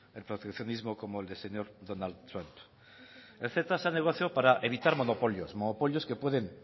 el proteccionismo como el del señor donald trump el ceta se ha negociado para evitar monopolios monopolios que pueden